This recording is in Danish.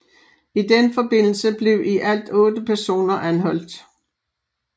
I den forbindelse blev i alt otte personer anholdt